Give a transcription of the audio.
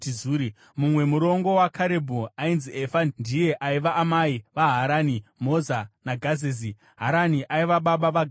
Mumwe murongo waKarebhu ainzi Efa ndiye aiva amai vaHarani, Moza naGazezi. Harani aiva baba vaGazezi.